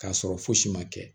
K'a sɔrɔ fosi ma kɛ